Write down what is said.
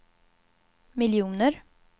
miljoner